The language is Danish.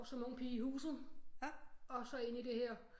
Som ung pige i huset og så ind i det her